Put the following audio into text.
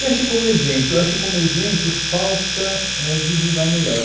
E acho que, como exemplo, acho que, como exemplo, falta éh divulgar melhor.